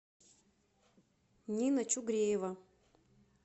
нина чугреева